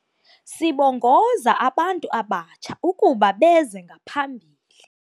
Sibongoza abantu abatsha ukuba beze ngaphambili.